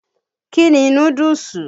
Kí ni núdúùsù?